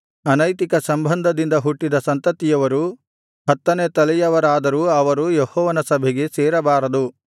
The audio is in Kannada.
ಅನೈತಿಕ ಸಂಬಂಧದಿಂದ ಹುಟ್ಟಿದ ಸಂತತಿಯವರು ಹತ್ತನೆಯ ತಲೆಯವರಾದರೂ ಅವರು ಯೆಹೋವನ ಸಭೆಗೆ ಸೇರಬಾರದು